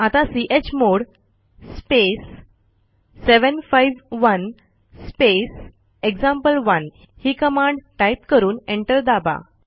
आता chmod space 751 space एक्झाम्पल1 ही कमांड टाईप करून एंटर दाबा